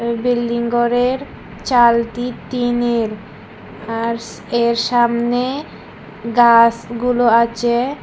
Building গরের চালটি tin এর আরস এর সামনে গাসগুলো আচে।